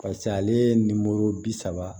Pase ale ye bi saba